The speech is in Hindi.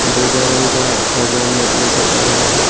बोगा रंग का पर्दा नजर आ रहा है।